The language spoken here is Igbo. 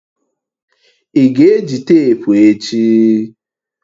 Ị ga-eji teepu echi?